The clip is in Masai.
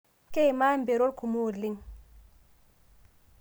Keimaa mperot kumo oleng